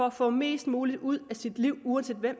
at få mest muligt ud af sit liv uanset hvem